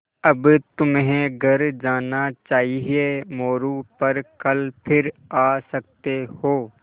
अब तुम्हें घर जाना चाहिये मोरू पर कल फिर आ सकते हो